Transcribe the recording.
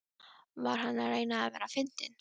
Var hann að reyna að vera fyndinn?